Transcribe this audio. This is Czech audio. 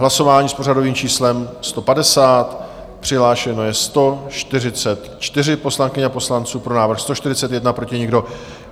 Hlasování s pořadovým číslem 150, přihlášeno je 144 poslankyň a poslanců, pro návrh 141, proti nikdo.